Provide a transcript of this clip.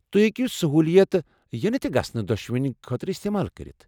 تُہۍ ہیكِو سہوٗلیتہٕ ینہٕ تہٕ گژھنہٕ دۄشونی خٲطرٕ استعمال کرِتھ ۔